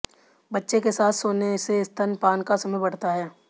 बच्चे के साथ सोने से स्तनपान का समय बढ़ता है